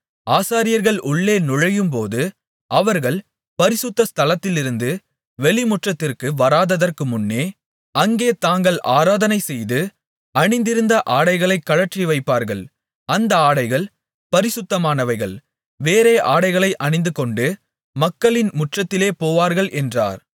ஆசாரியர்கள் உள்ளே நுழையும்போது அவர்கள் பரிசுத்த ஸ்தலத்திலிருந்து வெளிமுற்றத்திற்கு வராததற்கு முன்னே அங்கே தாங்கள் ஆராதனை செய்து அணிந்திருந்த ஆடைகளைக் கழற்றிவைப்பார்கள் அந்த ஆடைகள் பரிசுத்தமானவைகள் வேறே ஆடைகளை அணிந்துகொண்டு மக்களின் முற்றத்திலே போவார்கள் என்றார்